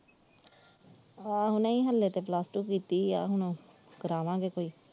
ਆਹੋ ਨਹੀਂ ਹੱਲੇ ਤੇ plus two ਕੀਤੀ ਵਾ ਹੁਣ ਕਰਾਵਾਂਗੇ ਕੋਈ।